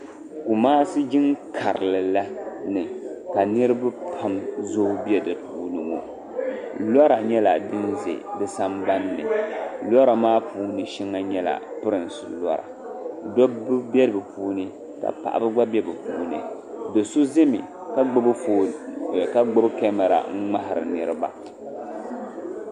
Kumasi jiŋ karili la ni ka niriba pam zooyi bɛ di puuni ŋɔ lɔra nyɛla din za di sanban ni lɔra puuni shɛŋa nyɛla pirinsi lɔra dɔbba bɛ bi puuni ka paɣaba gba bɛ bi puuni doo so zami ka gbubi kamara n ŋmahi ri niriba.